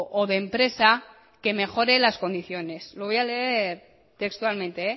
o de empresa que mejore las condiciones lo voy a leer textualmente